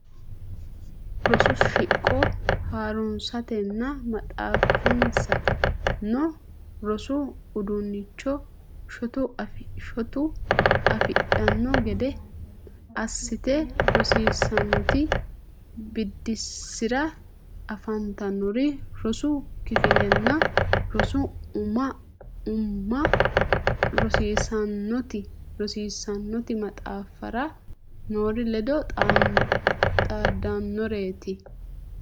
Rosu shiqo ha runsatenna maxaafinsa noo rosu udiinnicho shotu afidhanno gede assate rosiisaanote biddissira afantannori rosu kifillanna rosu umma rosaanote maxaafira noori ledo xaaddannoreeti.